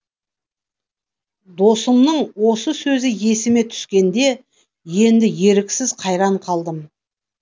досымның осы сөзі есіме түскенде енді еріксіз қайран қалдым